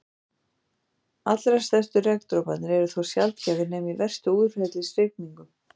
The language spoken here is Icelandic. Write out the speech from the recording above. Allra stærstu regndroparnir eru þó sjaldgæfir nema í verstu úrhellisrigningum.